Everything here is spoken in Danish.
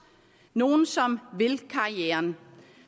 nogle som vil karrieren